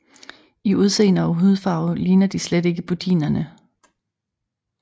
I udseende og hudfarve ligner de slet ikke budinerne